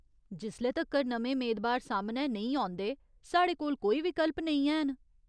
जिसले तक्कर नमें मेदबार सामनै नेईं औंदे, साढ़े कोल कोई विकल्प नेईं हैन।